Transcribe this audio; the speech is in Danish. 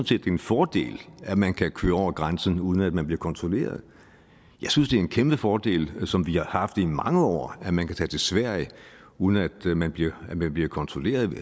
set det er en fordel at man kan køre over grænsen uden at man bliver kontrolleret og jeg synes det er en kæmpe fordel som vi har haft det i mange år at man kan tage til sverige uden at man bliver man bliver kontrolleret